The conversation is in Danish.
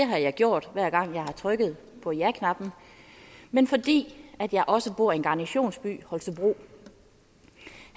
har jeg gjort hver gang jeg har trykket på jaknappen men fordi jeg også bor i en garnisonsby i holstebro